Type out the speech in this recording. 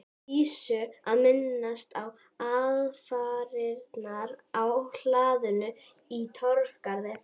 Dísu að minnast á aðfarirnar á hlaðinu í Torfgarði.